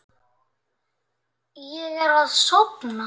Ég er að sofna.